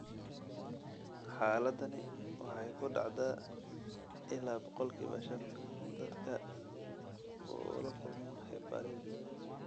Xaaladani waxay ku dhacdaa ilaa boqolkiba shan dadka uu la kulmo heparin.